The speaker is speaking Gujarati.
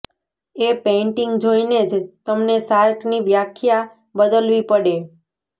એ પેઇન્ટિંગ જોઇને જ તમને શાર્કની વ્યાખ્યા બદલવી પડે